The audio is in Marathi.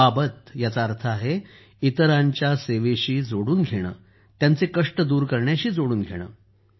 अबाबत याचा अर्थ आहे इतरांच्या सेवेशी जोडून घेणं त्यांचे कष्ट दूर करण्याशी जोडून घेणं